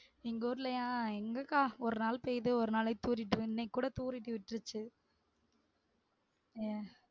எங்க ஊர்லையா எங்கக்கா ஒரு நாள் பெய்து ஒரு நாளைக்கு தூரிட்டு இன்னைக்கு கூட தூரிட்டு விட்ருச்சு அஹ்